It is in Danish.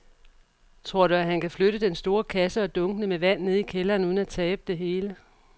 Tror du, at han kan flytte den store kasse og dunkene med vand ned i kælderen uden at tabe det hele?